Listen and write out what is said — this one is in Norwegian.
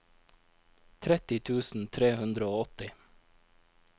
tretti tusen tre hundre og åtti